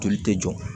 Joli tɛ jɔ